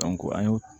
an ye